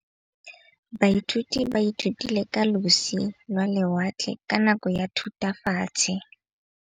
Baithuti ba ithutile ka losi lwa lewatle ka nako ya Thutafatshe.